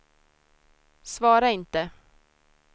svara inte